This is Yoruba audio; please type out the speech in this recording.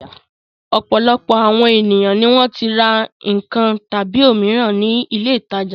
Ọ̀pọ̀lọpọ̀ àwọn ènìyàn ni wọ́n ti ra nǹkan tàbí òmíràn ní ilé-ìtajà.